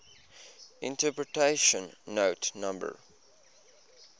interpretation note no